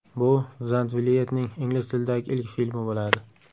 Bu Zandvliyetning ingliz tilidagi ilk filmi bo‘ladi.